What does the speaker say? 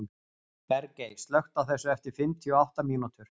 Bergey, slökktu á þessu eftir fimmtíu og átta mínútur.